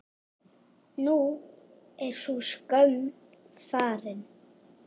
Nú er sú skömm farin.